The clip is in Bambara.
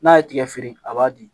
N'a ye tigɛ feere a b'a di